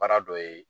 Baara dɔ ye